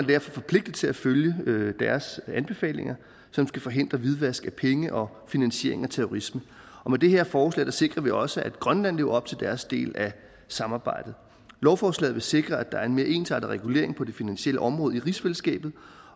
derfor forpligtet til at følge deres anbefalinger som skal forhindre hvidvask af penge og finansiering af terrorisme og med det her forslag sikrer vi også at grønland lever op til deres del af samarbejdet lovforslagene vil sikre at der er en mere ensartet regulering på det finansielle område i rigsfællesskabet